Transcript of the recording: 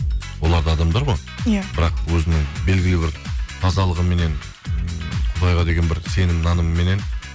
олар да адамдар ғой иә бірақ өзінің белгілі бір тазалығыменен м құдайға деген бір сенім нанымменнен